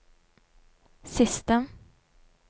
siste